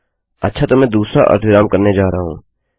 अच्छा तो मैं दूसरा अर्धविराम करने जा रहा हूँ